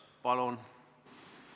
Palun!